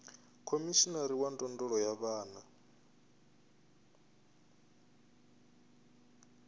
khomishinari wa ndondolo ya vhana